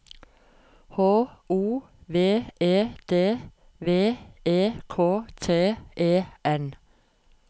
H O V E D V E K T E N